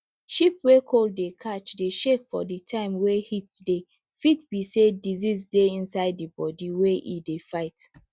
sheep wey cold dey catch dey shake for di time wey heat dey fit be say disease dey inside im body wey e dey fight